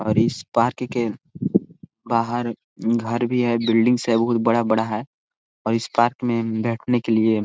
और इस पार्क के बाहर घर भी है बिल्डिंग्स है बहुत बड़ा-बड़ा है और इस पार्क में बैठने के लिए--